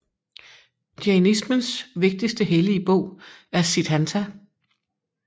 Jainismens vigtigste hellige bog er Siddhanta